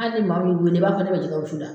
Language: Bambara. Hal ni maa mu y'i weele i b'a fɔ ne bɛ jɛkɛ wusu la.